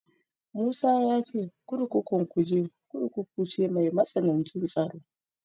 Musa ya ce kurkukun Kuje Kurkuku ce mai matsanancin tsaro.